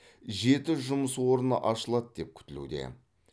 жеті жұмыс орны ашылады деп күтілуде